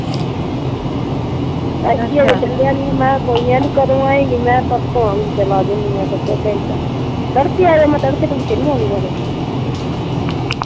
. ਅਜੇ ਚੱਲਿਆ ਨਈਂ ਮੈਂ ਕਿਹਾ ਕੋਈ ਨਈਂ ਆਂਹਦੀ ਕਦੋਂ ਆਏਂਗੀ? ਮੈਂ ਕਿਹਾ ਪਰਸੋਂ ਆਊਂਗੀ ਚੱਲ ਆ ਜਾਊਂਗੀ ਮੈਂ ਕਿਹਾ ਇੱਕ ਅੱਧਾ ਘੰਟਾ। ਤੜਕੇ ਆ ਜਾ ਮੈਂ ਕਿਹਾ ਤੜਕੇ ਤੁੜਕੇ ਨਈਂ ਮੈਂ ਆਉਂਦੀ ਮੈਂ ਕਿਹਾ